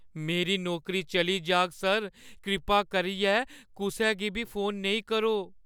मेरी नौकरी चली जाह्‌ग, सर। कृपा करियै कुसै गी बी फोन नेईं करो।